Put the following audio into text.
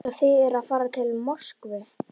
Svo þið eruð að fara til Moskvu.